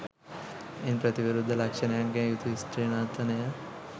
ඉන් ප්‍රතිවිරුද්ධ ලක්ෂණයන්ගෙන් යුතු ස්ත්‍රී නර්තනය